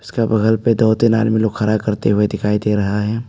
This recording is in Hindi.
इसका बगल पे दो तीन आदमी लोग खड़ा करते हुए दिखाई दे रहा है।